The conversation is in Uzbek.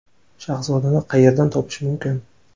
Shahzodani qayerdan topish mumkin?